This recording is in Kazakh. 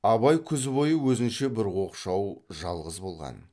абай күз бойы өзінше бір оқшау жалғыз болған